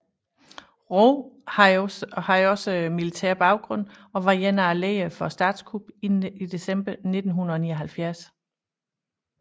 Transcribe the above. Roh havde også militær baggrund og var en af lederne for statskuppet i december 1979